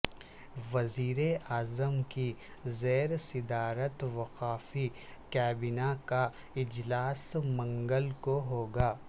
وزیراعظم کی زیر صدارت وفاقی کابینہ کا اجلاس منگل کوہوگا